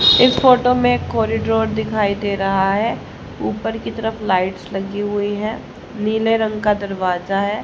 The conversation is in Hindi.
इस फोटो में एक कॉरिडोर दिखाई दे रहा है ऊपर की तरफ लाइट्स लगी हुई हैं नीले रंग का दरवाजा है।